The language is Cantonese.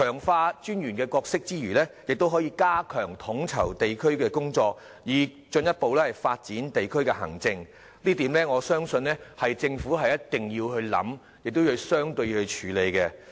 強化民政事務專員的角色之餘，亦可以加強統籌地區工作，以進一步發展地區行政，這點我相信政府一定要考慮，亦需要處理。